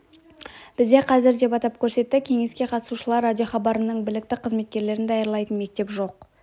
бізде қазір деп атап көрсетті кеңеске қатысушылар радиохабарының білікті қызметкерлерін даярлайтын мектеп жоқ